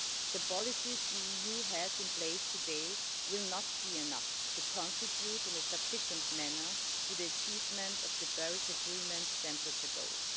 the policies the EU has in place today will not be enough to contribute in a sufficient manner to the achievement of the Paris Agreement's temperature goals.